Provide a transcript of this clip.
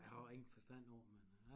Jeg har jo ingen forstå på det men